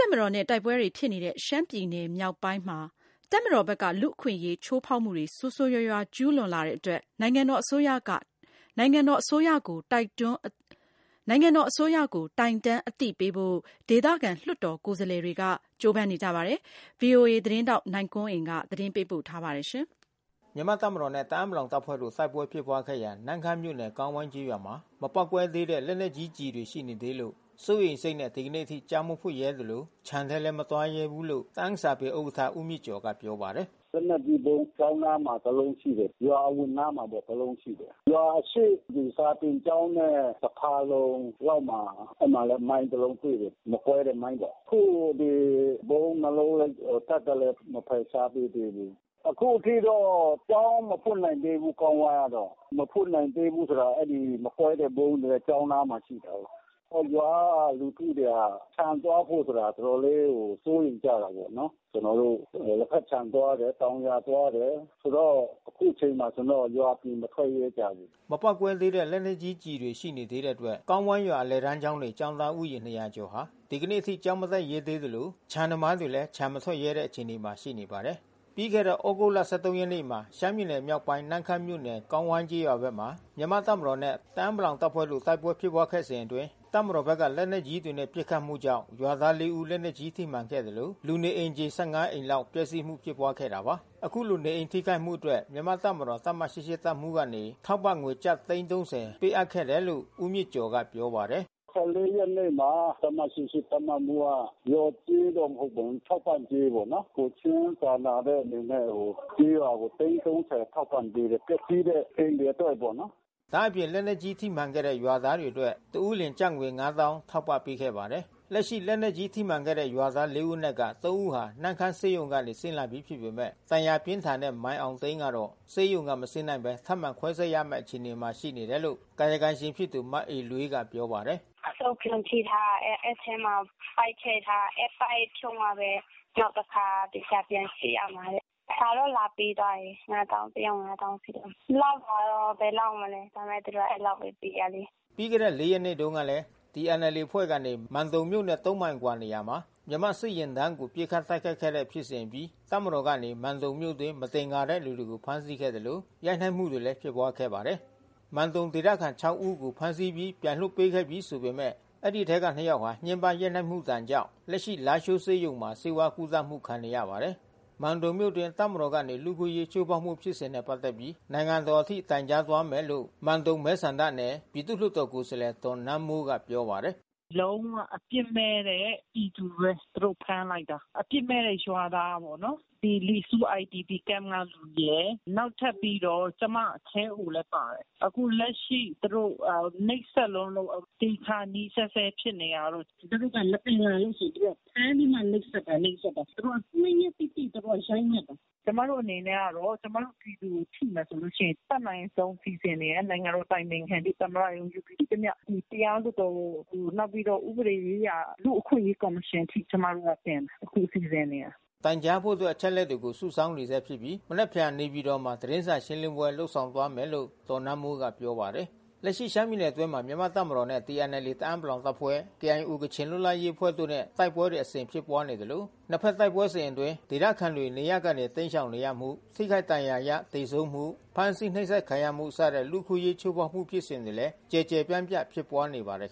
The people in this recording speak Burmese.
ပ်မတော်နဲ့ တိုက်ပွဲတွေဖြစ်နေတဲ့ ရှမ်းပြည်နယ်မြောက်ပိုင်းဒေသမှာ တပ်မတော်ဘက်က လူ့အခွင့်အရေး ချိုးဖေါက်မှု ဆိုးဆိုးဝါးဝါးကျူးလွန်မှုတွေရှိနေတဲ့အတွက် နိုင်ငံတော်အစိုးရကို တိုင်တန်းအသိပေးဖို့ ဒေသခံလွှတ်တော်ကိုယ်စား လှယ်တွေကလည်း ကြိုးပမ်းနေပါတယ်။ ဗွီအိုအေထိုင်းအခြေစိုက်သတင်းထောက် နိုင်ကွန်းအိန်ကနေသတင်းပေးပို့ ထားပါတယ်။ မြန်မာ့တပ်မတော်နဲ့တအာင်းပလောင်တပ်ဖွဲ့တို့တိုက်ပွဲဖြစ်ပွါးခဲ့ရာ နမ့်ခမ်းမြို့နယ်ကောင်းဝိုင်းကျေးရွာမှာ မပေါက်ကွဲ သေးတဲ့ လက်နက်ကြီးကျည်တွေရှိနေသေးလို့ စိုးရိမ်စိတ်နဲ့ ဒီကနေ့အထိကျောင်းမဖွင့်ရဲသလို ခြံထဲမသွားရဲသေးဘူး လို့ တအာင်းစာပေဥက္ကဌ ဦးမြင့်ကျော်ကပြောပါတယ်။ “လက်နက်ကြီးဗုံး ကျောင်းအနားမှာတလုံးရှိတယ်။ ရွာအဝင်နားမှာလဲ တလုံးရှိတယ်။ ရွာအရှေ့စာသင်ကျောင်းနဲ့ တဖါလုံ လောက်မှာ အဲဒီမှာလဲမိုင်းတလုံးတွေ့တယ်။ မကွဲတဲ့မိုင်းပေါ့။ အခုဒီဗုံးနှစ်လုံးတပ်ကလဲမဖယ်ရှားပေးသေးဘူး။ အခုထိ တော့ကျောင်းမဖွင့်နိုင်သေးဘူးကောင်းဝိုင်းကတော့။ မဖွင့်နိုင်သေးဘူးဆိုတာကလဲ မကွဲတဲ့ဗုံးကကျောင်းအနားမှာ ရှိနေ တာကိုး။ အဲရွာကလူထုတွေကခြံသွားဖို့စိုးရိမ်ကြတာပေါ့။ ကျွန်တော်တို့လက်ဖက်ခြံသွားတယ်၊ တောင်ယာသွားတယ်။ ဆိုတော့ အခုချိန်ကျွန်တော်တို့ရွာအပြင်မထွက်ရဲကြဘူး။” မပေါက်ကွဲသေးတဲ့ လက်နက်ကြီးကျည်တွေရှိနေသေးတဲ့အတွက် ကောင်းဝိုင်းရွာအလယ်တန်းကျောင်းနေ ကျောင်းသား ဦးရေ ကျော်ဟာ ဒီကနေ့အထိကျောင်းမတက်ရဲသေးသလို ခြံသမားတွေလဲခြံမထွက်ရဲတဲ့အခြေအနေမှာရှိနေ ပါတယ်။ ပြီးခဲ့တဲ့သြဂုတ်လ ရက်နေ့မှာ ရှမ်းပြည်နယ်မြောက်ပိုင်းနမ့်ခမ်းမြို့နယ် ကောင်းဝိုင်းကျေးရွာဘက်မှာ မြန်မာ့တပ်မ တော်နဲ့ တအာင်းပလောင်တပ်ဖွဲ့တို့တိုက်ပွဲဖြစ်ပွါးခဲ့စဉ်အတွင်း တပ်မတော်ဖက်ကလက်နက်ကြီးတွေနဲ့ ပစ်ခတ် မှုကြောင့် ရွာသား ဦး လက်နက်ကြီးထိမှန်ခဲ့သလို လူနေအိမ်ခြေ အိမ်လောက်ပျက်စီးမှုဖြစ်ပွါးခဲ့တာပါ။ အခုလိုနေအိမ်ထိခိုက်မှုအတွက် မြန်မာ့တပ်မတော် တပ်မ တပ်မှူးကနေ ထောက်ပံ့ငွေကျပ်သိန်း ထောက်ပံ့ ခဲ့တယ်လို့ ဦးမြင့်ကျော်ကပြောပါတယ်။ ရက်နေ့မှာ တပ်မ တပ်မမှူးက လျော်ကြေးတော့မဟုတ်ဘူး ထောက်ပံ့ကြေးပေါ့။ ကိုယ်ချင်းစာနာတဲ့အနေနဲ့ ကျေးရွာကိုသိန်း ထောက်ပံ့ပေးတယ်။ ပျက်စီးတဲ့အိမ်တွေအတွက်ပေါ့။” ဒါ့အပြင် လက်နက်ကြီးထိမှန်ခဲ့တဲ့ရွာသားတွေအတွက် တဦးလျှင်ကျပ်ငွေ ထောက်ပံ့ပေးခဲ့ပါတယ်။ လက်ရှိလက်နက်ကြီးထိမှန်ခဲ့တဲ့ရွာသား ဦးအနက်က ဦးဟာနမ့်ခမ်းဆေးရုံကနေဆင်းလာပြီးဖြစ်ပေမဲ့ ဒဏ်ရာပြင်း ထန်တဲ့ မိုင်အောင်သိန်းကတော့ ဆေးရုံကမဆင်းနိုင်သေးဘဲထပ်မံခွဲစိပ်ရမဲ့အခြေအနေရှိနေတယ်လို့ ကာယကံရှင်ဖြစ် သူ မအေလွေးကပြောပါတယ်။ “အဆုတ်ပြွန်ထိထားတယ်။ အဲဒီအထဲမှာ ပိုက်ထည့်ထားတယ်။ အဲဒီပိုက်ဖြုတ်မှဘဲ နောက်တခါသေချာပြန်စစ်ရမှာတဲ့။ စာ တော့လာပေးထားတယ်။ ငါးသောင်း တယောက်ငါးသောင်းစီပေါ့။ လောက်တော့ဘယ်လောက် ပါ့မလဲ။ ဒါပေမဲ့သူတို့က အဲဒီလောက်ဘဲပေးတာလေ။” ပြီးခဲ့တဲ့သြဂုတ် ရက်နေ့တုန်းက TNLAအဖွဲ့ကနေ မန်တုံမြို့နဲ့ မိုင်အကွာနေရာမှာ မြန်မာ့စစ်ယာဉ်တန်းကို ပစ်ခတ် တိုက်ခဲ့တဲ့ဖြစ်စဉ်အပြီး တပ်မတော်ကနေ မန်တုန်မြို့အတွင်းမသင်္ကာတဲ့သူတွေကိုဖမ်းဆီးခဲ့သလို ရိုက်နှက်မှုတွေလဲဖြစ်ပွါးခဲ့ပါတယ်။ မန်တုံဒေသခံ ဦးကိုဖမ်းဆီးပြီးပြန်လွှတ်ပေးခဲ့ပြီဆိုပေမဲ့အဲဒီအထဲကနှစ်ယောက်ဟာ ညှင်းပမ်းရိုက်နှက်မှုဒဏ်ကြောင့် လားရှိုးဆေးရုံမှာဆေးဝါးကုသမှုခံနေရပါတယ်။ မန်တုံမြို့အတွင်း တပ်မတော်ကနေ လူ့အခွင့်အရေးချိုးဖေါက်မှုဖြစ်စဉ်နဲ့ပက်သက်ပြီး နိုင်ငံတော်အထိ တိုင်ကြားသွား မယ်လို့ မန်တုံမဲဆန္ဒနယ်ပြည်သူလွှတ်တော်ကိုယ်စားလှယ် ဒေါ်နန်းမိုး ပြောပါတယ်။ “လုံးဝအပြစ်မဲ့တဲ့ပြည်သူဘဲသူတို့ဖမ်းလိုက်တာ။ အပြစ်မဲ့တဲ့ရွာသားပေါ့နော်။ ဒီလီဆူးIDPစခမ်းကလူရယ်။ နောက်ထပ်ပြီး တော့ ကျွန်မခဲအိုလဲပါတယ်။ အခုလက်ရှိသူတို့နှိပ်စက်လွန်းလို့ သေခါနီးဆဲဆဲဖြစ်နေတာတို့။ သူတို့က မသင်္ကာလို့ သူတို့ဖမ်းပြီးမှနှိပ်စက်တာ။ သူတို့ ရက်တိတိ ရိုက်နှက်တာ။ ကျွန်မတို့အနေနဲ့ကတော့ ကျွန်မတို့ပြည်သူကိုထိမယ်ဆိုရင် အတတ်နိုင်ဆုံးစီစဉ်နေတယ်။ နိုင်ငံတော်အတိုင်ပင်ခံ ၊ သမ္မတရုံး ရှိသမျှတရားလွှတ်တော် နောက်ပြီးတော့ဥပဒေရေးရာ လူ့အခွင့်အရေးကော်မရှင်အထိကျွန်မတို့တင်မယ်။ အခုစီစဉ်နေတယ်။ တိုင်ကြားဖို့အတွက် အချက်အလက်တွေစုဆောင်းနေဆဲဖြစ်ပြီး မနက်ဖြန်မှာ နေပြည်တော်မှာသတင်းစာရှင်းလင်းပွဲ လုပ်ဆောင်သွားမယ်လို့ဒေါ်နန်းမိုးကပြောပါတယ်။ လက်ရှိရှမ်းပြည်နယ်အတွင်းမှ မြန်မာ့တပ်မတော်နဲ့ TNLAတအာင်းပလောင်တပ်ဖွဲ့ KIO ကချင်လွတ်လပ်ရေးအဖွဲ့တို့ နဲ့ တိုက်ပွဲတွေအစဉ်ဖြစ်ပွါးနေသလို နှစ်ဖက်တိုက်ပွဲစဉ်အတွင်းဒေသခံတွေနေရပ်ကနေတိမ်းရှောင်နေရမှု ထိခိုက်ဒဏ် ရာရ သေဆုံးမှုဖမ်းဆီးနှိပ်စက်ခံရမှုစတဲ့လူ့အခွင့်အရေးချိုးဖေါက်မှုဖြစ်စဉ်တွေလဲ ကျယ်ကျယ်ပြန့်ပြန့်ဖြစ်ပွါးနေပါတယ်